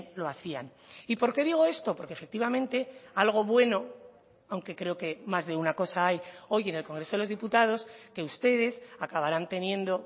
lo hacían y por qué digo esto porque efectivamente algo bueno aunque creo que más de una cosa hay hoy en el congreso de los diputados que ustedes acabarán teniendo